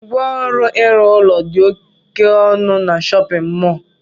Ngwa ọrụ ịrụ ụlọ dị oké ọnụ n'shóppin mol